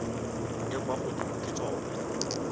e kwa godimo ke tsona